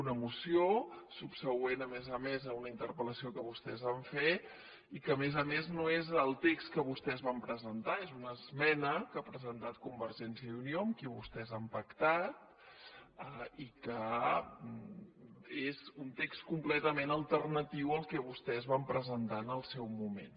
una moció subsegüent a més a més a una interpellació que vostès van fer i que a més a més no és el text que vostès van presentar és una esmena que ha presentat convergència i unió amb qui vostès han pactat i que és un text completament alternatiu al que vostès van presentar en el seu moment